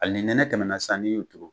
Hali ni nɛnɛ tɛmɛnna sisan n'i y'u turu